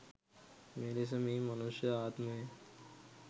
මෙලෙස මේ මනුෂ්‍ය ආත්මය